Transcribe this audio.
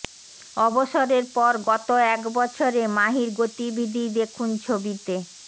অবসরের পর গত এক বছরে মাহির গতিবিধি দেখুন ছবিতে